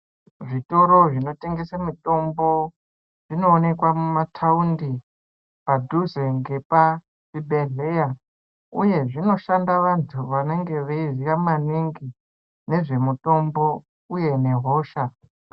Zvitoro zvinotengese mitombo zvinoonekwa mumataundi padhuze ngepa zvibhehleya uye zvinoshanda vantu vanenge veiziya maningi nezvemutombo uye nehosha.